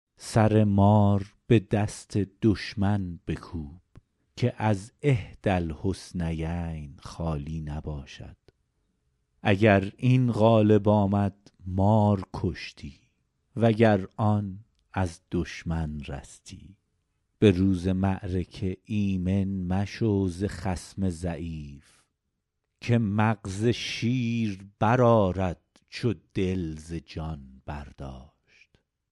سر مار به دست دشمن بکوب که از احدی الحسنیین خالی نباشد اگر این غالب آمد مار کشتی و گر آن از دشمن رستی به روز معرکه ایمن مشو ز خصم ضعیف که مغز شیر برآرد چو دل ز جان برداشت